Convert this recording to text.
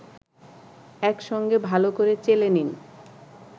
একসঙ্গে ভালো করে চেলে নিন